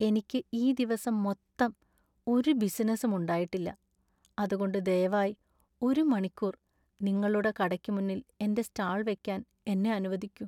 എനിക്ക് ഈ ദിവസം മൊത്തം ഒരു ബിസിനസും ഉണ്ടായിട്ടില്ല , അതുകൊണ്ട് ദയവായി ഒരു മണിക്കൂര്‍ നിങ്ങളുടെ കടയ്ക്ക് മുന്നിൽ എന്റെ സ്റ്റാൾ വെക്കാൻ എന്നെ അനുവദിക്കു.